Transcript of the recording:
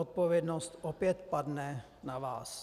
Odpovědnost opět padne na vás.